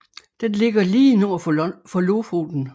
Den ligger lige nord for Lofoten